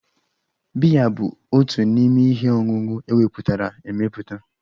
Biya bụ otu n'ime ihe ọṅụṅụ emepụtara emepụta.